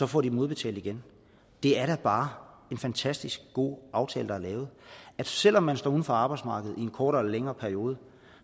får de dem udbetalt igen det er da bare en fantastisk god aftale der er lavet selv om man står uden for arbejdsmarkedet i en kortere eller længere periode